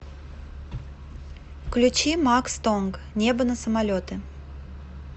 включи макс тонг небо на самолеты